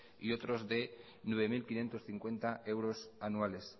y otros nueve mil quinientos cincuenta euros anuales